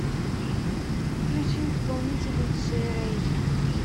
включи исполнителя джей рэй